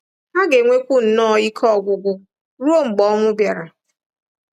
Ha ga-enwekwu nnọọ ike ọgwụgwụ ruo mgbe ọnwụ bịara.